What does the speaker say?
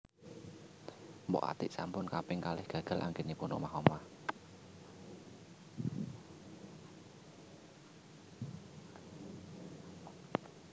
Mpok Atiek sampun kaping kalih gagal anggenipun omah omah